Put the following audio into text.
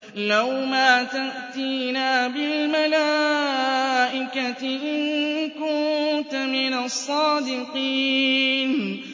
لَّوْ مَا تَأْتِينَا بِالْمَلَائِكَةِ إِن كُنتَ مِنَ الصَّادِقِينَ